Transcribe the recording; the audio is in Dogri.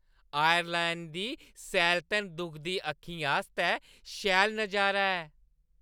आयरलैंड दी सैलतन दुखदी अक्खीं आस्तै शैल नजारा ऐ।